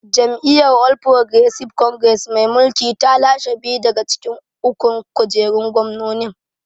Jam’iyyar All Progresive Congress mai mulki ta lashe biyu daga cikin ukun kujerun gwamnonin.